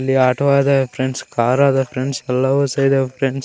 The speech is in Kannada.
ಇಲ್ಲಿ ಆಟೊ ಆದ ಕಾರ್ ಆದ ಫ್ರೆಂಡ್ಸ್ ಎಲ್ಲಾವು ಸೇರ್ಯಾವ್ ಫ್ರೆಂಡ್ಸ್ .